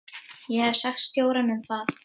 Ég hef sagt stjóranum það.